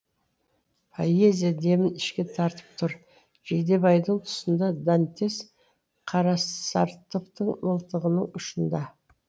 поэзия демін ішке тартып тұр жидебайдың тұсында дантес қарасартовтың мылтығының ұшында